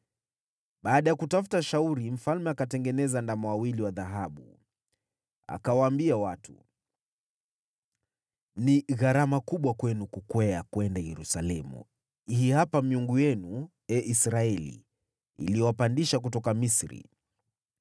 Baada ya kutafuta shauri, mfalme akatengeneza ndama wawili wa dhahabu. Akawaambia watu, “Ni gharama kubwa kwenu kukwea kwenda Yerusalemu. Hii hapa miungu yenu, ee Israeli, iliyowapandisha kutoka Misri.”